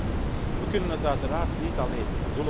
Derde punt we kunnen het uiteraard niet alleen.